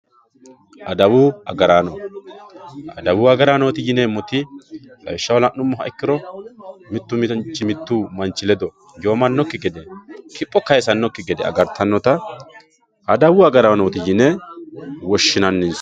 Adawu agaraanno, adawu agarano yineemoti lawishaho la'numoha ikkiro mitu manchi mitu manchi lrdo giwamanokki gede kiipho kayisanokki gede agaritanotta adawu agaranooti yine woshinaninsa